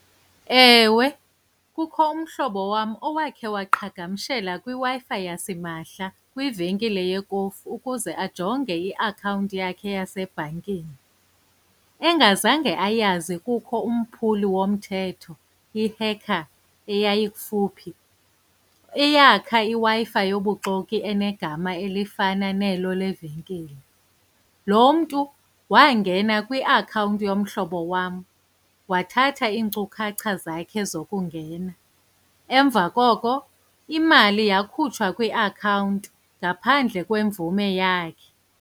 Ewe, kukho umhlobo wam owakhe waqhagamshela kwiWi-Fi yasimahla kwivenkile yekofu ukuze ajonge iakhawunti yakhe yasebhankini, engazange ayazi kukho umphuli womthetho, ihekha eyayikufuphi, eyakha iWi-Fi yobuxoki enegama elifana nelo levenkile. Lo mntu wangena kwiakhawunti yomhlobo wam, wathatha iinkcukacha zakhe zokungena, emva koko imali yakhutshwa kwiakhawunti, ngaphandle kwemvume yakhe.